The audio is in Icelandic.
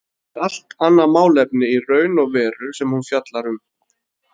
Það er allt annað málefni í raun og veru sem hún fjallar um.